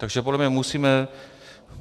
Takže podle mě musíme...